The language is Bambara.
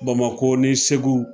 ŊBamakɔ ni segu